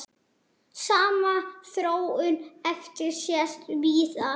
Sama þróun hefur sést víðar.